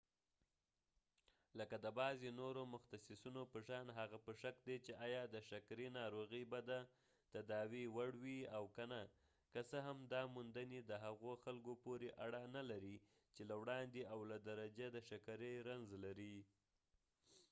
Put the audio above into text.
لکه د بعضې نورو متخصیصینو په شان هغه په شک دې چې آیا د شکرې ناروغي به د تداوۍ وړ وي او که نه که څه هم دا موندنې د هغو خلکو پورې اړه نلري چې له وړاندې اوله درجه د شکرې رنځ لري